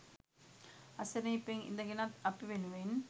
අසනීපෙන් ඉඳගෙනත් අපි වෙනුවෙන්